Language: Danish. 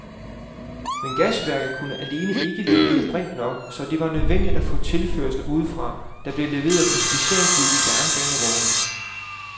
Men gasværket alene kunne ikke levere brint nok, så det var nødvendigt at få tilførsler udefra, der blev leveret på specialbyggede jernbanevogne.